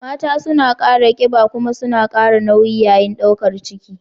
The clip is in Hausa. Mata suna samun kiba kuma suna kara nauyi yayin daukar ciki.